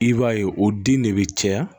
I b'a ye o den de bi caya